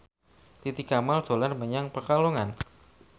Titi Kamal dolan menyang Pekalongan